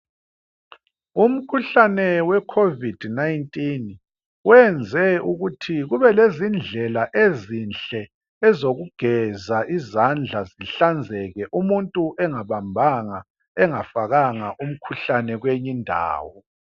Umkhuhlane wekhovid 19 wenze ukuthi kubelezindlela ezinhle ezokugeza izandla zihlanzeke umuntu engabambanga, engafakanga umkhuhlane kweyinye indawo.